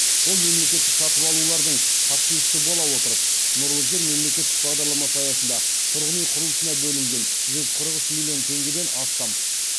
ол мемлекеттік сатып алулардың қатысушысы бола отырып нұрлы жер мемлекеттік бағдарламасы аясында тұрғын үй құрылысына бөлінген жүз қырық үш миллион теңгеден астам